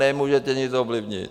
Nemůžete nic ovlivnit!